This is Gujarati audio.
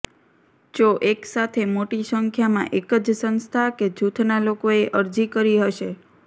જો એક સાથે મોટી સંખ્યામાં એક જ સંસ્થા કે જુથના લોકોએ અરજી કરી હશે